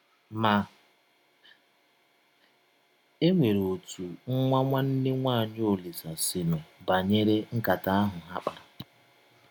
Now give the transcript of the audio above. Ma, e nwere ọtụ nwa nwanne nwaanyị Ọlise si nụ banyere nkata ahụ ha kpara.